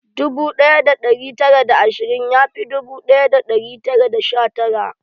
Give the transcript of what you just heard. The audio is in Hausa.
Dubu ɗaya da ɗari tara da ashirin yafi dubu ɗaya da ɗari tara da sha tara